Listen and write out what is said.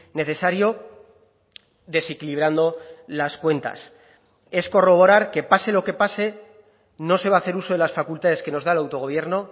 necesario desequilibrando las cuentas es corroborar que pase lo que pase no se va a hacer uso de las facultades que nos da el autogobierno